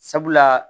Sabula